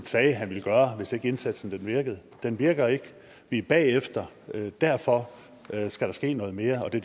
sagde han ville gøre hvis ikke indsatsen virkede den virker ikke vi er bagefter og derfor skal der ske noget mere og det